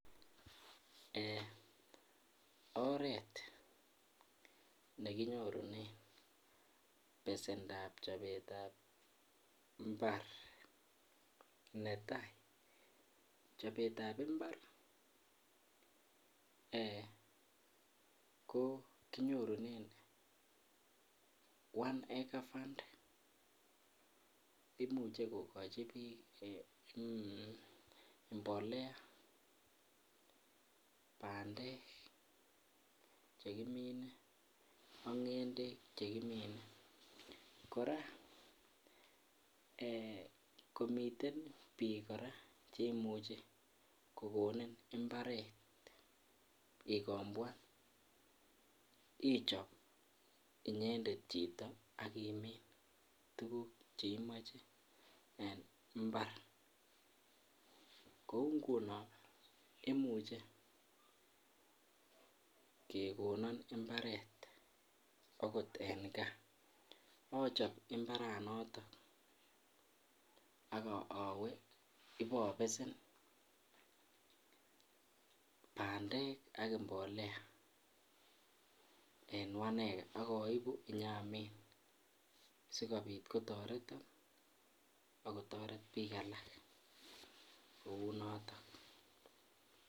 Eeeh oreet nekinyorunen besendab chobetab mbar, netai chobetab mbar ko kinyorunen one acre fund imuche kokochi biik mbolea bandek chekimine ak ngendek chekimine, kora eeh komiten biik kora cheimuche kokonin imbaret ikombwan ichob inyendet chito ak imin tukuk cheimoche en imbar, kouu ngunon imuche kekonon imbaret okot en kaa achob imbara noton ak owee ibobesen bandek ak mbolea en one acre ak oibu inyamin sikobit kotoreton ak kotoret biik alak kounoton.